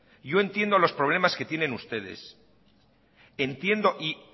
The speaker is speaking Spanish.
yo entiendo los problemas que tienen ustedes entiendo y